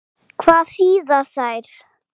Hvað þýða þær?